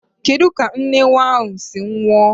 Kedu ka nne nwa ahụ si nwụọ?